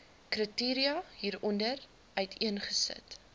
kriteria hieronder uiteengesit